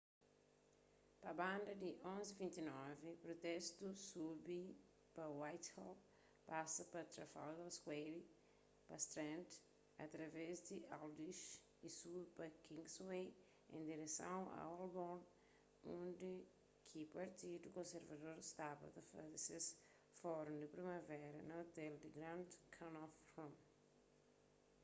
pa banda di 11:29 protestu subi pa whitehall pasa pa trafalgar square pa strand através di aldwych y subi pa kingsway en direson a holborn undi ki partidu konservador staba ta faze ses fórun di primavera na ôtel grand connaught rooms